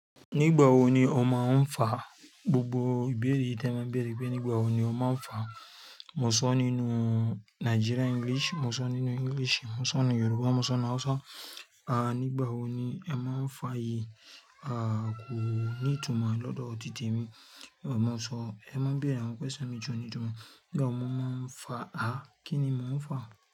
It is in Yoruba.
Nígbà wo ni o máa ń fa? Gbogbo ìbéèrè ìtẹ̀ mo n beere, bi enipé nígbà wo ni o máa ń fa? Mo sọ nínú Nigerian English, mo sọ nínú English, mo sọ nínú Yorùbá, mo sọ náà Ṣá. À nígbà wo ni ẹ máa ń fà yí? À kò ní ìtumọ̀ lọ́dọ̀ titemi. Ẹ máa sọ, ẹ máa béèrè àwọn question mi ti o ní'tùúmọ̀. Nígbà wo mo máa ń fà? À kí ni mo ń fà?